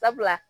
Sabula